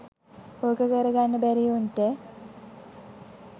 ඕක කරගන්න බැරි උන්ට